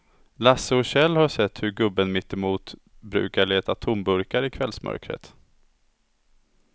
Lasse och Kjell har sett hur gubben mittemot brukar leta tomburkar i kvällsmörkret.